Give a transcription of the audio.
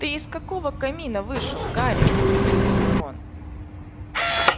ты из какого камина вышел гарри спросил рон